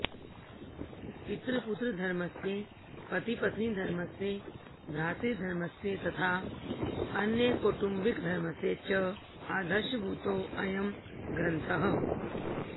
पितृपुत्रधर्मस्य पतिपत्नीधर्मस्य भ्रातृधर्मस्य तथा अन्यकौटुम्बिकधर्मस्य च आदर्शभूतो अयं ग्रन्थः